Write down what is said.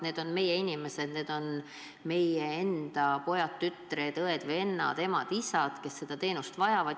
Need on meie inimesed, need on meie endi pojad-tütred, õed-vennad, emad-isad, kes seda teenust vajavad.